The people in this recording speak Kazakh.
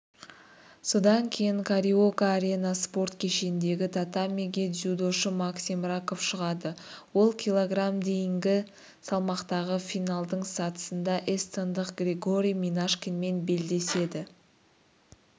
содан кейін кариока арена спорт кешеніндегі татамиге дзюдошы максим раков шығады ол кг дейінгі салмақтағы финалдың сатысында эстондық григорий минашкинмен белдеседі